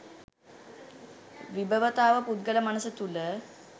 විභවතාව පුද්ගල මනස තුළ